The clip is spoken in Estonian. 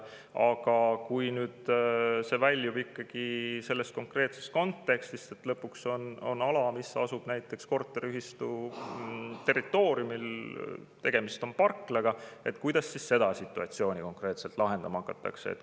Aga kui nüüd see väljub sellest konkreetsest kontekstist, et lõpuks on ala, mis asub näiteks korteriühistu territooriumil, tegemist on parklaga, kuidas siis seda situatsiooni konkreetselt lahendama hakatakse?